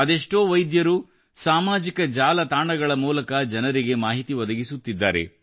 ಅದೆಷ್ಟೋ ವೈದ್ಯರು ಸಾಮಾಜಿಕ ಜಾಲತಾಣಗಳ ಮೂಲಕ ಜನರಿಗೆ ಮಾಹಿತಿ ಒದಗಿಸುತ್ತಿದ್ದಾರೆ